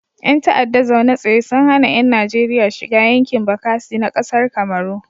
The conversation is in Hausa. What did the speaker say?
Ƴan ta'adda zaune tsaye sun hana yan Najeria shiga yankin bakasi na kasar kamaru